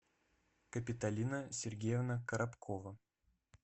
капиталина сергеевна коробкова